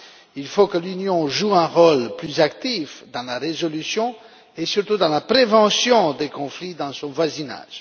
Il faut que l'Union joue un rôle plus actif dans la résolution et surtout dans la prévention des conflits dans son voisinage.